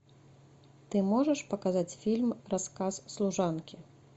ты можешь показать фильм рассказ служанки